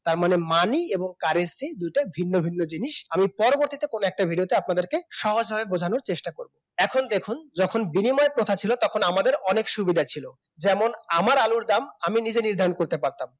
তার মানে money এবং currency দুটাই ভিন্ন ভিন্ন জিনিস আমি পরবর্তীতে কোন একটা video তে আপনাদেরকে সহজ ভাবে বোঝানোর চেষ্টা করব এখন দেখুন যখন বিনিময় প্রথা ছিল তখন আমাদের অনেক সুবিধা ছিল। যেমন আমার আলুর দাম আমি নিজে নির্ধারণ করতে পারতাম